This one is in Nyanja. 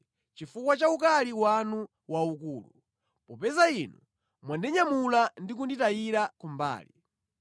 chifukwa cha ukali wanu waukulu, popeza Inu mwandinyamula ndi kunditayira kumbali.